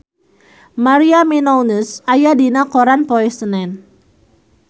Maria Menounos aya dina koran poe Senen